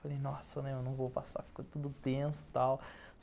Falei, nossa, eu não vou passar, fica tudo tenso e tal.